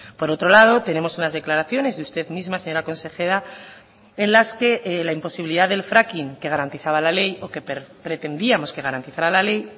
por otro lado tenemos unas declaraciones y usted misma señora consejera en las que la imposibilidad del fracking que garantizaba la ley o que pretendíamos que garantizara la ley